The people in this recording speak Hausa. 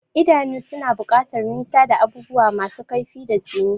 Idanu suna buƙatar nisa da abubuwa masu kaifi da tsini.